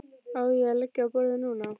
Á ég að leggja á borðið núna?